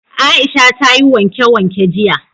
Aisha ta yi wanke-wanke jiya